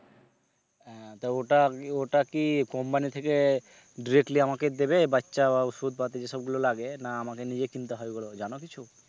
হ্যাঁ তো ওটা কি ওটা কি company থেকে directly আমাকে দেবে বাচ্চা ওষুধ পাতি যেসব গুলো লাগে না আমাকে নিজে কিনতে হবে ওগুলো জানো কিছু?